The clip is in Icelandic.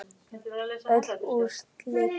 Öll úrslit